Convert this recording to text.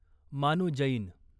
मानू जैन